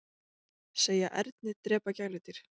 Segja erni drepa gæludýr